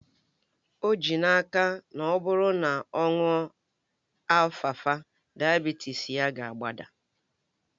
O ji n'aka na ọ bụrụ na ọ ṅụọ alfalfa, dayabitis ya ga-agbada